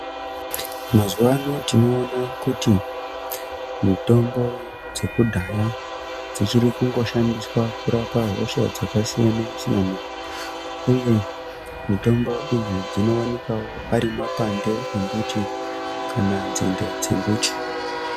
Mazuvaano tinoona kuti mitombo dzekudhaya dzichiri kungo shandiswa kurapa hosha dzakasiyana siyana uye mitombo idzi dzinoonekwa wo ari mapande embiti kana dzinde dzemiti.